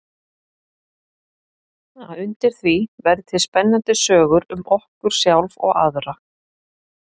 Að undir því verði til spennandi sögur um okkur sjálf og aðra.